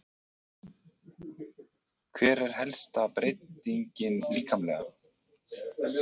Hver er helsta breytingin líkamlega?